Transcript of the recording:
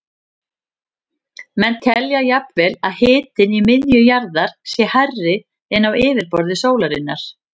Menn telja jafnvel að hitinn í miðju jarðar sé hærri en á yfirborði sólarinnar.